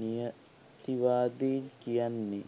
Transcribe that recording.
නියතිවාදීන් කියන්නේ